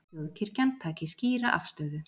Þjóðkirkjan taki skýra afstöðu